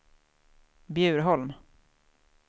Bjurholm